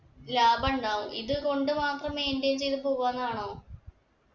ലാഭം ഉണ്ടാവും ഇത് കൊണ്ട് മാത്രം maintain ചെയ്ത് പോവാന്നാണോ